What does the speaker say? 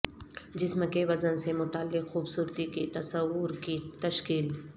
جسم کے وزن سے متعلق خوبصورتی کے تصور کی تشکیل